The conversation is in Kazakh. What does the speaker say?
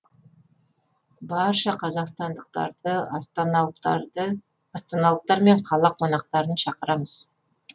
барша қазақстандықтарды астаналықтар мен қала қонақтарын шақырамыз